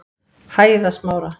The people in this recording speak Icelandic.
Hæðasmára